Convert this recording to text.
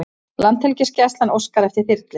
Landhelgisgæslan óskar eftir þyrlu